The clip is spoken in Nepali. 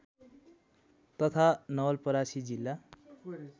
तथा नवलपरासी जिल्ला